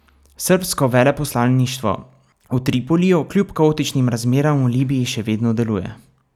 Srbsko veleposlaništvo v Tripoliju kljub kaotičnim razmeram v Libiji še vedno deluje.